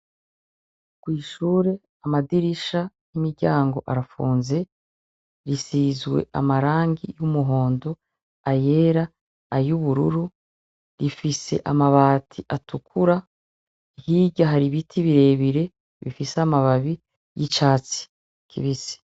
Kwishure amadirisha nimiryango arafunze isizwe amarangi y'umuhondo, ayera, ayubururu ifise amabati atukura hirya hari ibiti birebire bifise amababi yicatsi kibisi.